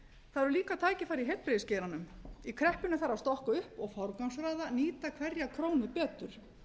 það eru líka tækifæri í heilbrigðisgeiranum í kreppunni þarf að stokka upp og forgangsraða nýta hverja krónu betur